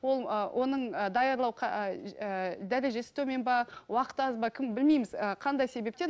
ол ы оның ы даярлау ііі дәрежесі төмен бе уақыты аз ба кім білмейміз ы қандай себептен